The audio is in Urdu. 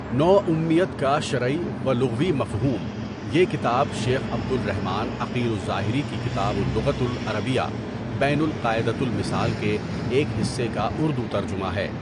نو امیت کا شرعی و لغوی مفہوم، یہ کتاب شیخ عبد الرحمان عقیل الظاہری کی کتاب اللغۃ العربیہ بین القاعدۃ المثال کے ایک حصہ کا اردو ترجمہ ہے.